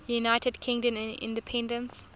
united kingdom independence